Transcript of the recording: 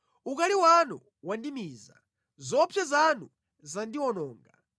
Ukali wanu wandimiza; zoopsa zanu zandiwononga.